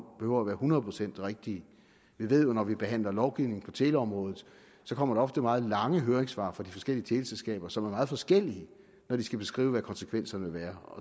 behøver være hundrede procent rigtige vi ved jo at når vi behandler lovgivning på teleområdet kommer der ofte meget lange høringssvar fra de forskellige teleselskaber som er meget forskellige når de skal beskrive hvad konsekvenserne vil være